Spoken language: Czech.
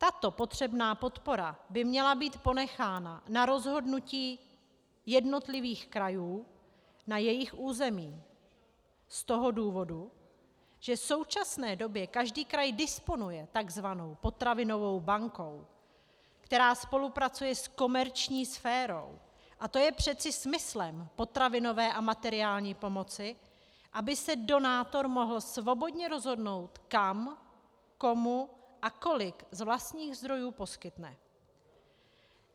Tato potřebná podpora by měla být ponechána na rozhodnutí jednotlivých krajů na jejich území z toho důvodu, že v současné době každý kraj disponuje tzv. potravinovou bankou, která spolupracuje s komerční sférou, a to je přece smyslem potravinové a materiální pomoci, aby se donátor mohl svobodně rozhodnout, kam, komu a kolik z vlastních zdrojů poskytne.